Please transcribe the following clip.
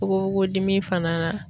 Fokofoko dimi fana